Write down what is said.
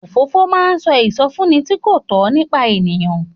Òfófó máa ń sọ ìsọfúnni tí kò tọ́ nípa èèyàn.